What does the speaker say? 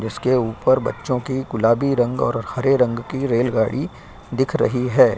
जिस के ऊपर बच्चों की गुलाबी रंग और हरे रंग की रेल गाड़ी दिख रही है।